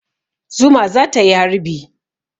Zuma za ta yi harbi.